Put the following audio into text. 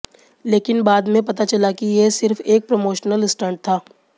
लेकिन बाद में पता चला की ये सिर्फ एक प्रमोशनल स्टंट था